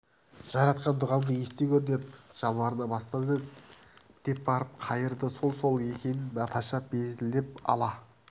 жаратқан дұғамды ести гөр деп жалбарына бастады деп барып қайырды сол-сол екен наташа безілдеп ала